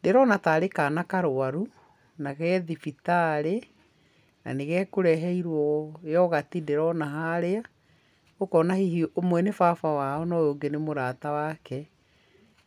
Ndĩrona tarĩ kana karũaru na ge thibitarĩ na nĩgekũreherio yoghurt ndĩrona harĩa, ũkona hihi ũmwe nĩ baba wao na ũũ ũngĩ nĩ mũrata wake.